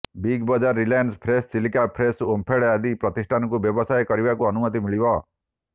Big Bazaar Reliance fresh Chilika fresh OMFED ଆଦି ପ୍ରତିଷ୍ଠାନକୁ ବ୍ୟବସାୟ କରିବାକୁ ଅନୁମତି ମିଳିବ